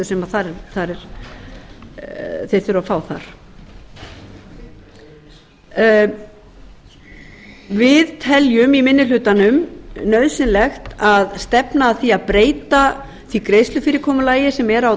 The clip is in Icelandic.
sem þeir þurfa að fá þar við teljum í minni hlutanum nauðsynlegt að stefna að því að breyta því greiðslufyrirkomulagi sem er á